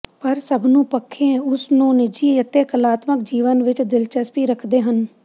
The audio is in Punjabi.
ਪਰ ਸਭ ਨੂੰ ਪੱਖੇ ਉਸ ਨੂੰ ਨਿੱਜੀ ਅਤੇ ਕਲਾਤਮਕ ਜੀਵਨ ਵਿੱਚ ਦਿਲਚਸਪੀ ਰੱਖਦੇ ਹਨ